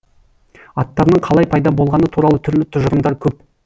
аттарының қалай пайда болғаны туралы түрлі тұжырымдар көп